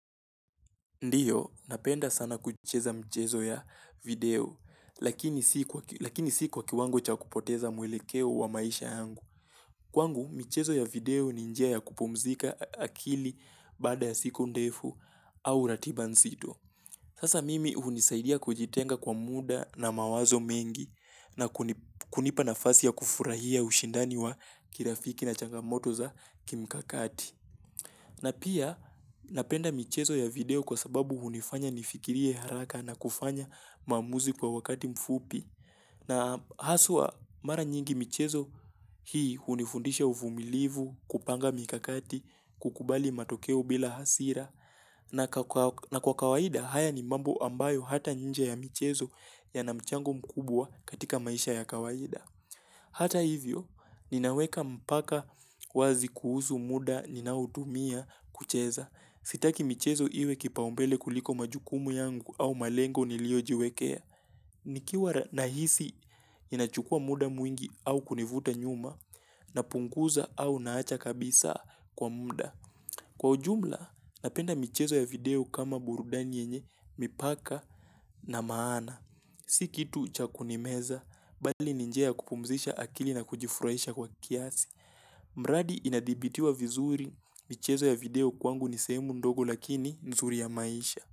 Ndiyo, napenda sana kucheza mchezo ya video, lakini si kwa kiwango cha kupoteza mwelekeo wa maisha angu. Kwangu, mchezo ya video ninjia ya kupumzika akili bada ya siku ndefu au ratiba nzito. Sasa mimi unisaidia kujitenga kwa muda na mawazo mengi na kunipa nafasi ya kufurahia ushindani wa kirafiki na changamoto za kimkakati. Na pia napenda michezo ya video kwa sababu hunifanya nifikirie haraka na kufanya mamuzi kwa wakati mfupi na haswa mara nyingi michezo hii hunifundisha ufumilivu kupanga mikakati kukubali matokeo bila hasira na kwa kawaida haya ni mambo ambayo hata nyinga ya michezo ya namchango mkubwa katika maisha ya kawaida. Hata hivyo, ninaweka mpaka wazi kuhuzu muda ninautumia kucheza. Sitaki michezo iwe kipaumbele kuliko majukumu yangu au malengo niliojiwekea. Nikiwara nahisi inachukua muda mwingi au kunivuta nyuma, napunguza au naacha kabisa kwa muda. Kwa ujumla, napenda michezo ya video kama burudani yenye mipaka na maana. Sikitu chakunimeza, bali ninjea kupumzisha akili na kujifurahisha kwa kiasi. Mradi inadibitiwa vizuri, michezo ya video kwangu nisemu ndogo lakini nzuri ya maisha.